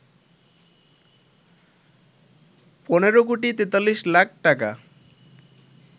১৫ কোটি ৪৩ লাখ টাকা